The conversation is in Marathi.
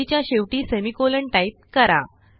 ओळीच्या शेवटी सेमिकोलॉन टाईप करा